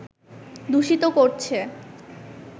দূষিত করছে